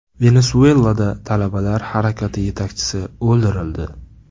Venesuelada talabalar harakati yetakchisi o‘ldirildi.